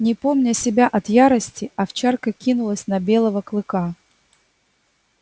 не помня себя от ярости овчарка кинулась на белого клыка